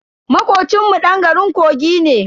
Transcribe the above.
Makocin mu dan garin kogi ne.